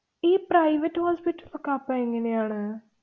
ഈ private hospital ലൊക്കെ അപ്പ എങ്ങനെയാണ്?